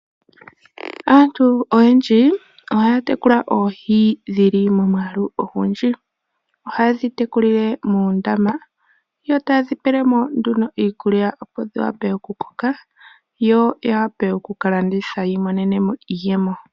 Aantu oyendji ohaa tekula oohi dhili momwaalu ongundji. Ohayedhi tekulile moondama. Yo tayedhi pele mo nduno iikulya opo dhi wape okukoka yo ya wape okuka landitha yi imonene mo iiyemo.